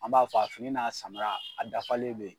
An b'a fɔ a fini n'a samara, a dafalen be ye.